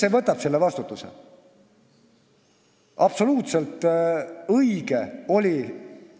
Kes võtab selle vastutuse?